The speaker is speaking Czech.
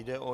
Jde o